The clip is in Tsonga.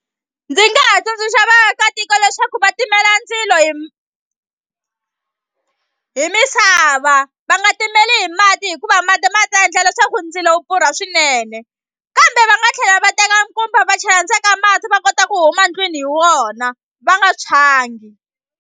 Ndzi nga ha tsundzuxa vaakatiko leswaku va timela ndzilo hi misava va nga timeli hi mati hikuva mati ma ta endla leswaku ndzilo wu pfurha swinene kambe va nga tlhela va teka nkumba va chela ndzeni ka mati va kota ku huma ndlwini hi wona va nga tshwangi.